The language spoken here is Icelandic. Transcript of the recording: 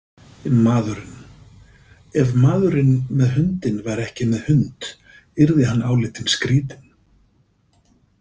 Maðurinn Ef maðurinn með hundinn væri ekki með hund yrði hann álitinn skrýtinn.